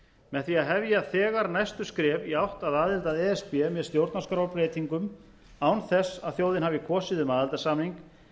með því að hefja þegar næstu skref í átt að aðild að e s b með stjórnarskrárbreytingum án þess að þjóðin hafi kosið um aðildarsamning